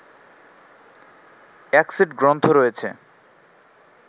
এক সেট গ্রন্থ রয়েছে